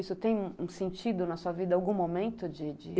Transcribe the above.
Isso tem um sentido na sua vida em algum momento? de de